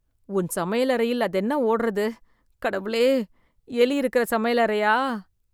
உன் சமையலறையில் அதென்ன ஓடறது? கடவுளே? எலி இருக்கிற சமையலைறையா?